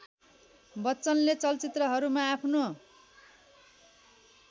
बच्चनले चलचित्रहरूमा आफ्नो